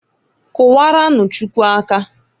Kụwaranụ Chukwu aka.